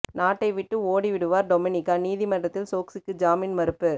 நாட்டை விட்டு ஓடி விடுவார் டொமினிகா நீதிமன்றத்தில் சோக்சிக்கு ஜாமீன் மறுப்பு